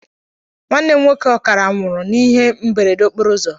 Nwanne m nwoke ọkara nwụrụ n' ihe mberede okporouzo